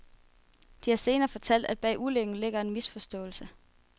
De har senere fortalt, at bag ulykken ligger en misforståelse.